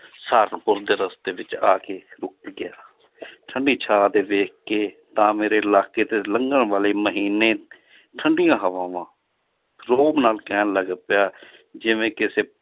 ਸਹਾਰਨਪੁਰ ਦੇ ਰਸਤੇ ਵਿੱਚ ਆ ਕੇ ਰੁੱਕ ਗਿਆ ਠੰਢੀ ਛਾਂ ਤੇ ਵੇਖ ਕੇ ਤਾਂ ਮੇੇਰੇ ਇਲਾਕੇ ਤੇ ਲੰਘਣ ਵਾਲੀ ਮਹੀਨੇ ਠੰਢੀਆਂ ਹਵਾਵਾਂ ਰੋਹਬ ਨਾਲ ਕਹਿਣ ਲੱਗ ਪਿਆ ਜਿਵੇਂ ਕਿਸੇ